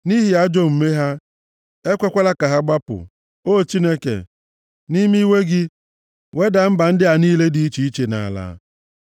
Nʼihi ajọ omume ha, ekwekwala ka ha gbapụ; o Chineke, nʼime iwe gị, wedaa mba ndị a niile dị iche iche nʼala.